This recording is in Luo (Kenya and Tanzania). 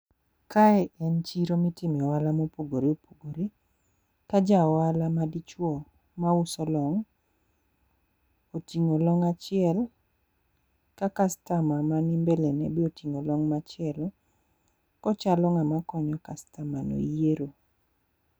Kae en chiro mitimo e ohala mopogore opogore. Ka ja ohala ma dichwo mauso long', oting'o long' achiel, ka customer mani mbele ne be oting'o long' machielo. Ochalo ng'ama konyo customer ni yiero.